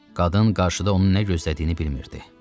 Qadın qarşıda onu nə gözlədiyini bilmirdi.